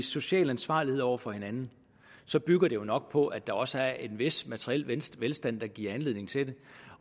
social ansvarlighed over for hinanden så bygger det jo nok på at der også er en vis materiel velstand der giver anledning til det